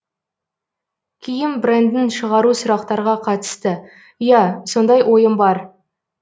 киім брендін шығару сұрақтарға қатысты ия сондай ойым бар